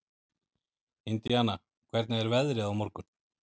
Indiana, hvernig er veðrið á morgun?